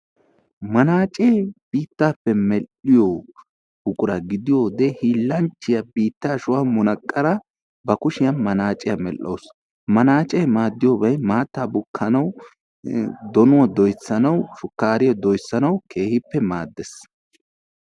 Manaacee biittaappe medhdhiyo buqura gidiyo wode hiillanchchiya biittaa shuwan munaqqada ba kushiyan munaqqada medhdhawusu. Manaacee maadiyoyi maattaa bukkanawu donuwa doyssanawu shukkaariya doyssanawu keehippe maaddes.